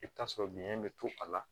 I bɛ t'a sɔrɔ biyɛn bɛ to a la